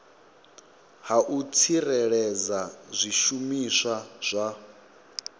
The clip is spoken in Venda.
ha u tsireledza zwishumiswa zwa